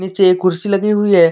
जे कुर्सी लगी हुई है।